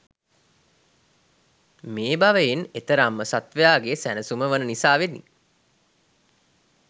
මේ භවයෙන් එතරම්ම සත්ත්වයාගේ සැනසුම වන නිසාවෙනි.